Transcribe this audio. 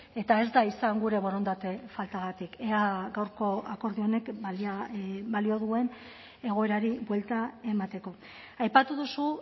eta ez da izan gure borondate faltagatik ea gaurko akordio honek balio duen egoerari buelta emateko aipatu duzu